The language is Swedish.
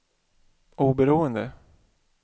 oberoende